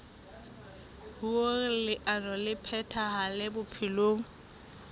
hoer leano le phethahale bophelong